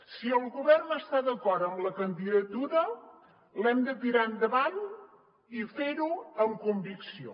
si el govern està d’acord amb la candidatura l’hem de tirar endavant i fer ho amb convicció